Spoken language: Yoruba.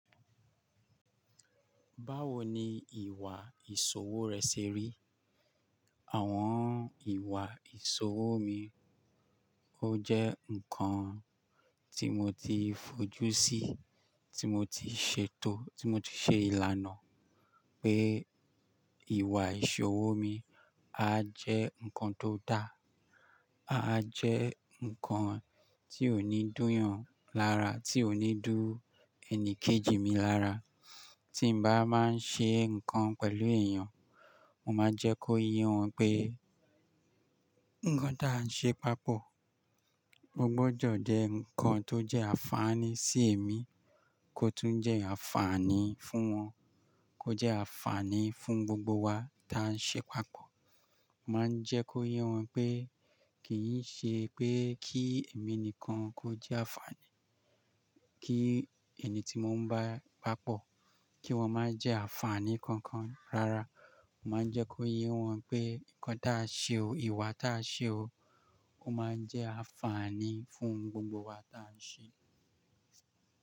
Báwo ni ìwà ìṣòwò rẹ ṣe rí? Àwọn ìwà ìṣòwò mi, ó jẹ́ nǹkan tí mo ti fojú sí, tí mo ti ṣètò, tí mo ti ṣe ìlànà pé ìwà ìṣòwò mi á jẹ́ nǹkan tó dáa, á jẹ́ nǹkan tí ò ní dúyàn lára, tí ò ní dú ẹni kejì mi lára. Tí n bá máa ń ṣe nǹkan pẹ̀lú èèyàn, mo máa ń jẹ́ kó yé wọn pé nǹkan tí à ń ṣe papọ̀, ó gbọdọ̀ jẹ́ nǹkan tó jẹ́ àǹfààní sí èmi kó tún jẹ́ àǹfààní fún wọn, kó jẹ́ àǹfààní fún gbogbo wa tí à ń ṣe papọ̀. M á ń jẹ́ kó yé wọn pé kì í ṣe pé kí èmi nìkan kó jẹ́ àǹfààní, kí ẹni tí mo ń bá papọ̀, kí wọ́n máa jẹ́ àǹfààní kankan. Rárá, mà á ń jẹ́ kó yé wọn pé nǹkan tí a ṣe o, ìwà tí a ṣe o, ó máa ń jẹ́ àǹfààní fún gbogbo wa tí à ń ṣe.